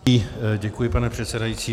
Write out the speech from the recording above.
Děkuji, pane předsedající.